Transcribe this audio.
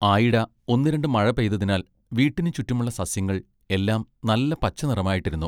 ആയിട ഒന്നു രണ്ടു മഴപെയ്തതിനാൽ വീട്ടിനു ചുറ്റുമുള്ള സസ്യങ്ങൾ എല്ലാം നല്ല പച്ചനിറമായിട്ടിരുന്നു.